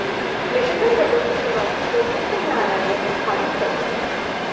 Michigan rubber की चुनौती को उच्च न्यायालय ने खारिज कर दिया